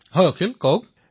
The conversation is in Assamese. প্ৰধানমন্ত্ৰীঃ হয় অখিল কওক